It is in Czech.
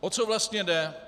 O co vlastně jde?